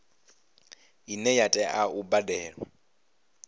ine ya tea u badelwa